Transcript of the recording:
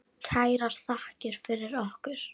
Kærar þakkir fyrir okkur.